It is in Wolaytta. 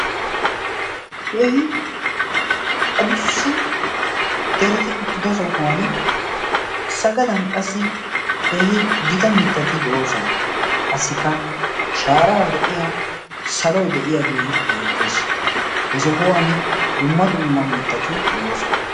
keehi a dussa dereti uttida sohuwan sagadan qassi keehi gita mittati de'oosona qassikka shaaraar de'iya saloy de'iyaagee beettees. he sohuwan dumma dumma mittati de'oosona.